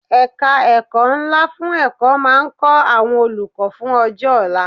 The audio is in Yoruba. Ẹ̀ka ẹ̀kọ́ ńlá fún ẹ̀kọ́ máa ń kọ́ àwọn olùkọ́ fún ọjọ́ ọ̀la.